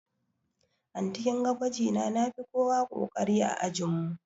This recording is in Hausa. Anty kinga gwajina nafi kowa ƙoƙari a ajin mu